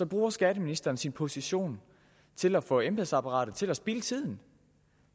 bruger skatteministeren sin position til at få embedsapparatet til at spilde tiden